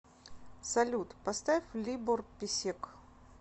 салют поставь либор песек